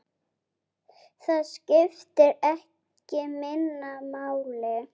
Það skiptir ekki minna máli.